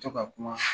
To ka kuma